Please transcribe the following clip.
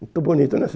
Muito bonito, né,